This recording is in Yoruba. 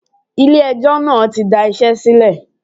Ilé ẹjọ́ náà tí da iṣẹ́ sílẹ̀.